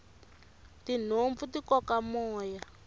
tinhompfu ti koka moya